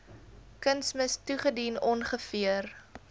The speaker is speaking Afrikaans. kunsmis toegedien ongeveer